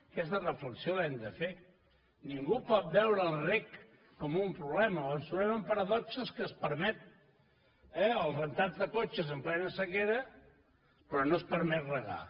aquesta reflexió l’hem de fer ningú pot veure el reg com un problema o ens trobarem amb paradoxes que es permet el rentat de cotxes en plena sequera però no es permet regar